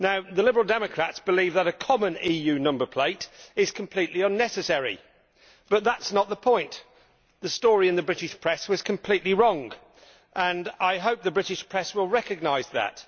The Liberal Democrats believe that a common EU number plate is completely unnecessary, but that is not the point the story in the British press was completely wrong and I hope the British press will recognise that.